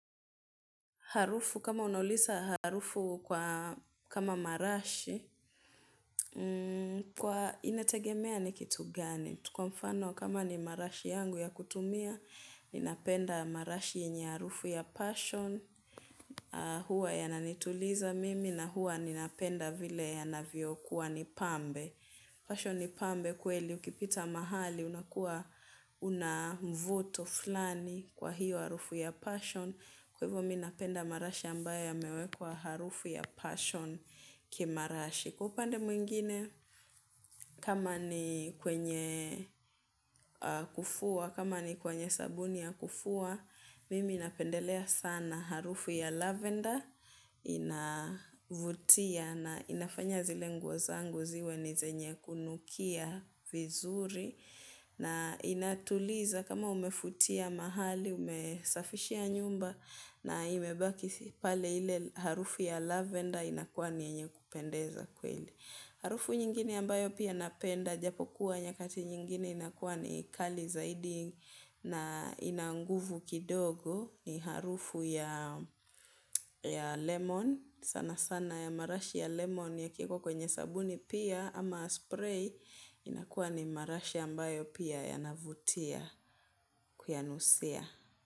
Harufu, kama unaulisa harufu kwa, kama marashi, kwa inategemea ni kitu gani. Ju kwa mfano kama ni marashi yangu ya kutumia, ninapenda marashi yenye harufu ya passion, huwa yananituliza mimi, na huwa ninapenda vile yanavyo kuwa ni pambe. Passion ni pambe kweli ukipita mahali, unakuwa, unamvuto fulani kwa hiyo harufu ya passion. Kwa hivo minapenda marashi ambaye ya mewekwa harufu ya passion ki marashi. Kwa upande mwingine, kama ni kwenye kufua, kama ni kwenye sabuni ya kufua, mimi napendelea sana harufu ya lavender. Inavutia na inafanya zile nguo zangu ziwe ni zenye kunukia vizuri. Na inatuliza kama umefutia mahali, umesafishia nyumba na imebaki pale ile harufu ya lavender inakuwa ni yenye kupendeza kweli. Harufu nyingini ambayo pia napenda japo kuwa nyakati nyingini inakuwa ni kali zaidi na ina nguvu kidogo ni harufu ya lemon sana sana ya marashi ya lemon ya kiwekwa kwenye sabuni pia ama spray inakuwa ni marashi ambayo pia yanavutia kuyanusia.